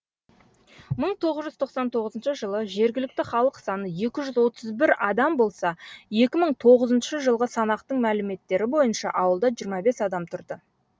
мың тоғыз жүз тоқсан тоғызыншы жылы жергілікті халық саны екі жүз отыз бір адам болса екі мың тоғызыншы жылғы санақтың мәліметтері бойынша ауылда жиырма бес адам тұрды